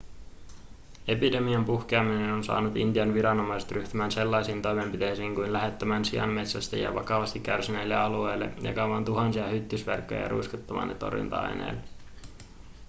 epidemian puhkeaminen on saanut intian viranomaiset ryhtymään sellaisiin toimenpiteisiin kuin lähettämään sianmetsästäjiä vakavasti kärsineille alueille jakamaan tuhansia hyttysverkkoja ja ruiskuttamaan torjunta-aineita